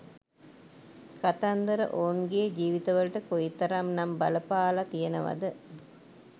කතන්දර ඔවුන්ගේ ජීවිතවලට කොයිතරම් නම් බලපාල තියෙනවද